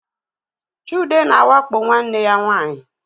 Chude na-awakpo nwanne ya nwanyị